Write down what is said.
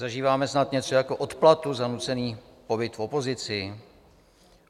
Zažíváme snad něco jako odplatu za nucený pobyt v opozici?